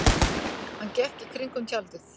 Hann gekk í kringum tjaldið.